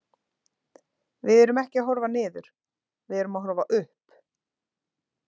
Við erum ekki að horfa niður, við erum að horfa upp.